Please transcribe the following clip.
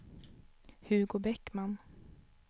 Hugo Bäckman